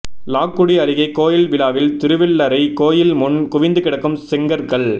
லால்குடி அருகே கோயில் விழாவில் திருவெள்ளரை கோயில் முன் குவிந்து கிடக்கும் செங்கற்கள்